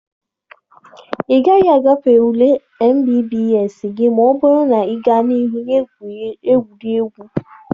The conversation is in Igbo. Ị gaghị agafe ule mbbs gị ma ọ bụrụ na ị gaa n'ihu na-egwu gburugburu.